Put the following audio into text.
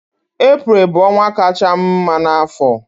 Eprel bụ ọnwa kachaa m mma n'afọ